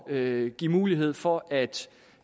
at give mulighed for at